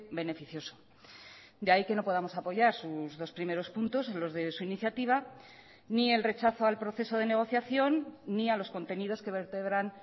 beneficioso de ahí que no podamos apoyar sus dos primeros puntos los de su iniciativa ni el rechazo al proceso de negociación ni a los contenidos que vertebran